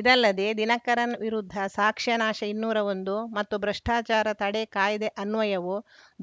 ಇದಲ್ಲದೆ ದಿನಕರನ್‌ ವಿರುದ್ಧ ಸಾಕ್ಷ್ಯ ನಾಶ ಇನ್ನೂರ ಒಂದು ಮತ್ತು ಭ್ರಷ್ಟಾಚಾರ ತಡೆ ಕಾಯ್ದೆ ಅನ್ವಯವೂ